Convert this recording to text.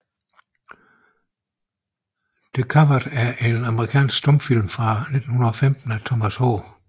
The Coward er en amerikansk stumfilm fra 1915 af Thomas H